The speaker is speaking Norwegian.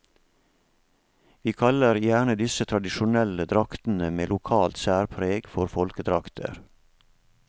Vi kaller gjerne disse tradisjonelle draktene med lokalt særpreg for folkedrakter.